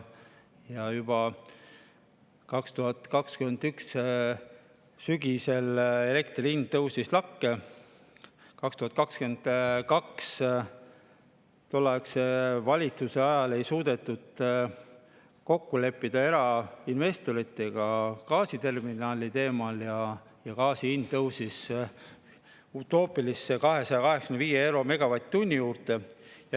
Juba 2021. aasta sügisel elektri hind tõusis lakke, 2022 tolleaegse valitsuse ajal ei suudetud kokku leppida erainvestoritega gaasiterminali teemal ja gaasi hind tõusis utoopilisele tasemele – 285 eurot megavatt-tunni eest.